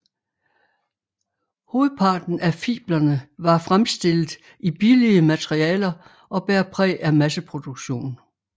Hovedparten af fiblerne var fremstillet i billige materialer og bærer præg af masseproduktion